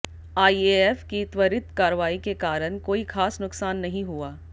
IAF की त्वरित कार्रवाई के कारण कोई खास नुकसान नहीं हुआ